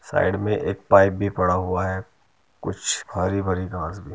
side में एक pipe भी पड़ा हुआ है |कुछ हरी भरी घास --